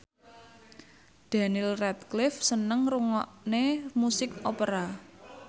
Daniel Radcliffe seneng ngrungokne musik opera